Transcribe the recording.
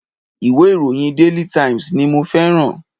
Ìwé ìròyìn daily times ni mo feran